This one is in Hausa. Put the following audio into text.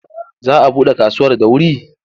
Za a buɗe kaduwar da wuri?